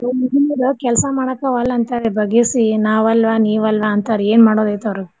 ಈಗಿನ್ ಹುಡ್ಗೂರ್ ಕೆಲ್ಸ ಮಾಡಕ ವಲ್ಲ್ ಅಂತಾರೀ ಬಗ್ಗಿಸಿ ನಾ ವಲ್ವಾ ನೀ ವಲ್ವಾ ಅಂತಾರ್ ಏನ್ ಮಾಡೋದ್ ಐತ್ ಅವ್ರು.